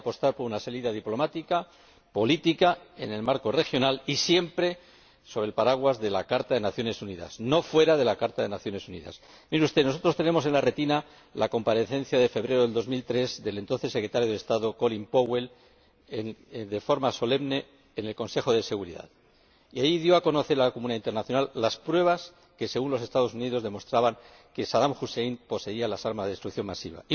Hay que apostar por una salida diplomática, política, en el marco regional y siempre bajo el paraguas de la Carta de las Naciones Unidas, no fuera de la Carta de las Naciones Unidas. Mire usted, nosotros tenemos en la retina la comparecencia solemne, de febrero de 2003, del entonces Secretario de Estado, Colin Powell, en el Consejo de Seguridad y allí dio a conocer a la comunidad internacional las pruebas que, según los Estados Unidos, demostraban que Sadam Husein poseía armas de destrucción masiva.